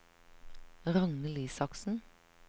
Ragnhild Isaksen